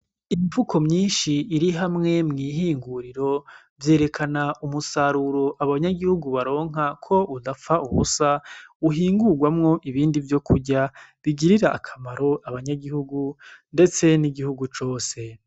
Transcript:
Imifuko myinshi irihamwe mwihinguriro vyerekana umusaruro abanyagihugu baronka ko udapfa ubusa uhingurwamwo uhingurwamwo ibindi vyokurya bigirira akamaro abanyagihugu ndetse n'igihugu cose.